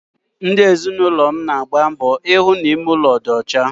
Ndi ezinụlọm na-agba mbọ ihụ na ime ụlọ dị ọcha